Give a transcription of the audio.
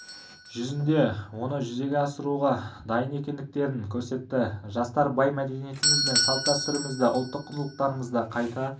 жүзінде оны жүзеге асыруға дайын екендіктерін көрсетті жастар бай мәдениетіміз бен салт-дәстүрімізді ұлттық құндылықтарымызды қайта